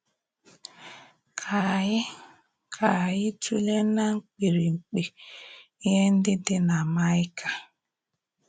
Ka ànyí Ka ànyí tụ́lee ná mkpìrìkpi íhè ǹdí dị na Maịka.